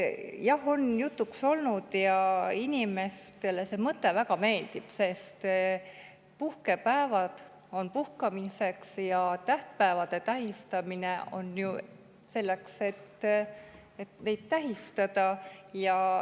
Jah, on jutuks olnud ja inimestele see mõte väga meeldib, sest puhkepäevad on puhkamiseks ja tähtpäevi tähistatakse ju selleks, et neid tähistada.